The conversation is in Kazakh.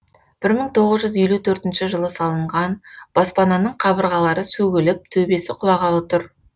бір мың тоғыз жүз елу төртінші жылы салынған баспананың қабырғалары сөгіліп төбесі құлағалы тұр